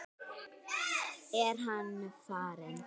Er hann farinn?